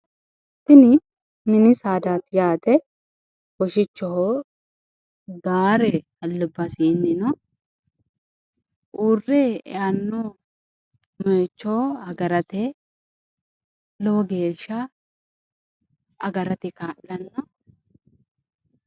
tini mini saadaati yaate woshichoho gaare albasiinni no uurre eanno moyiicho agarate lowo geeshsha agarate kaa'lanno.